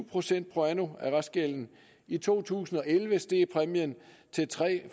procent pro anno af restgælden i to tusind og elleve steg præmien til tre